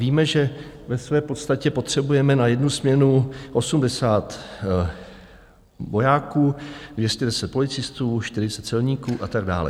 Víme, že ve své podstatě potřebujeme na jednu směnu 80 vojáků, 210 policistů, 40 celníků a tak dále.